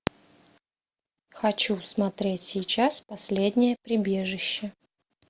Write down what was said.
хочу смотреть сейчас последнее прибежище